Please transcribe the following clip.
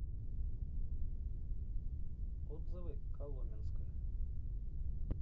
отзывы коломенское